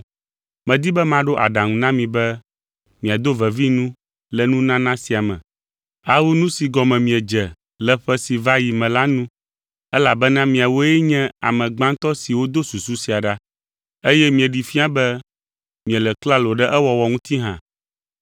Medi be maɖo aɖaŋu na mi be miado vevi nu le nunana sia me, awu nu si gɔme miedze le ƒe si va yi me la nu, elabena miawoe nye ame gbãtɔ siwo do susu sia ɖa, eye mieɖee fia be miele klalo ɖe ewɔwɔ ŋuti hã.